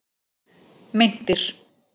Meintir